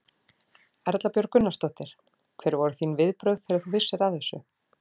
Erla Björg Gunnarsdóttir: Hver voru þín viðbrögð þegar þú vissir af þessu?